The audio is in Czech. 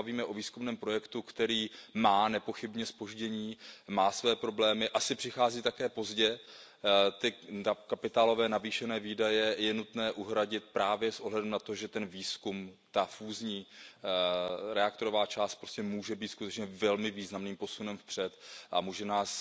Tady se bavíme o výzkumném projektu, který má nepochybně zpoždění, má své problémy, asi přichází také pozdě, ty kapitálové navýšené výdaje je nutné uhradit právě s ohledem na to, že ten výzkum, ta fúzní reaktorová část prostě může být skutečně velmi významným posunem vpřed a může nás